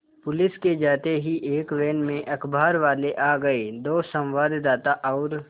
police के जाते ही एक वैन में अखबारवाले आ गए दो संवाददाता और